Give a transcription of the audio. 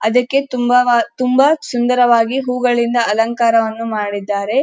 ಅದಕ್ಕ್ಕೆ ತುಂಬಾ ಸುಂದರವಾಗಿ ಹೂಗಳಿಂದ ಅಲಂಕಾರವನ್ನು ಮಾಡಿದ್ದಾರೆ.